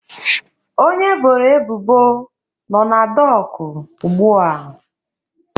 Onye eboro ebubo nọ na dọkụ ugbu a